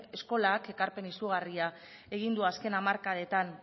eskolak ekarpen izugarri egin du azken hamarkadetan